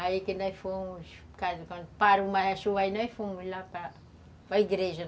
Aí que nós fomos... Quando parou mais a chuva, aí nós fomos lá para para a igreja.